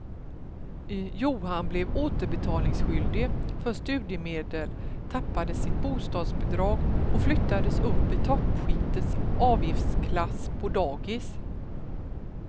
Johan blev återbetalningsskyldig för studiemedel, tappade sitt bostadsbidrag och flyttades upp i toppskiktets avgiftsklass på dagis.